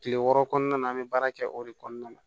Kile wɔɔrɔ kɔnɔna an be baara kɛ o de kɔnɔna la